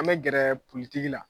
An bɛ gɛrɛ politigi la